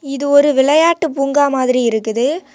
இது ஒரு விளையாட்டு பூங்கா மாதிரி இருக்குது.